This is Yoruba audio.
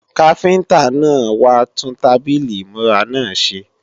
Káfíntá náà wá tún tábìlì ìmúra náà ṣe